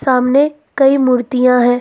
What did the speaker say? सामने कई मूर्तियां है।